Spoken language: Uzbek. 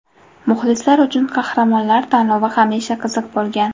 Muxlislar uchun qahramonlar tanlovi hamisha qiziq bo‘lgan.